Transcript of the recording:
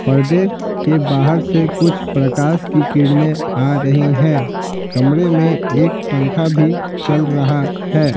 पर्दे के बाहर से कुछ प्रकाश की किरणें आ रही हैं कमरे में एक पंखा भी चल रहा है।